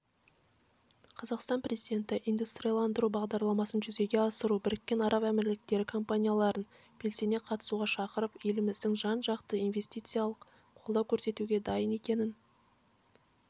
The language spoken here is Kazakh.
қазақстан президенті индустрияландыру бағдарламасын жүзеге асыруға біріккен араб әмірліктері компанияларын белсене қатысуға шақырып еліміздің жан-жақты инвестициялық қолдау көрсетуге дайын екенін